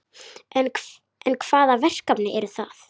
En hvaða verkefni eru það?